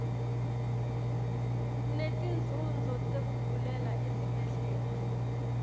netinzunzo tekugulela esibhedlela